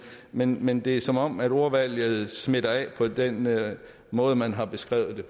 men men det er som om ordvalget smitter af på den måde måde man har beskrevet